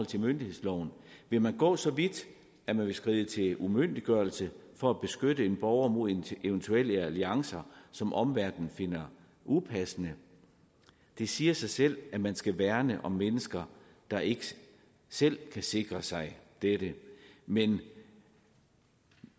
til myndighedsloven vil man gå så vidt at man vil skride til umyndiggørelse for at beskytte en borger mod eventuelle alliancer som omverdenen finder upassende det siger sig selv at man skal værne om mennesker der ikke selv kan sikre sig dette men